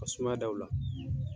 Ka sumaya da u la.